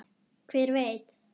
Hver veit.